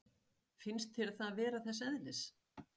Finnst þér það vera þess eðlis?